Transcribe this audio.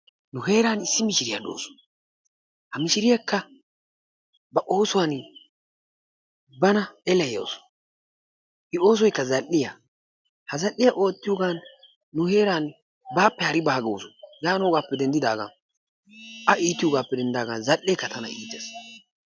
Nu heeran issi mishiriya dawusu ha mishiriyakka ba oosuwan bana eleyawusu. I oosoykka zal'iya, ha zal'iya ootiyogan nu heeran baappe hari baawa gaawusu yaanoogaappe denddidaagan A iitiyogaappe denddidaagan zal'ekka tana iittees.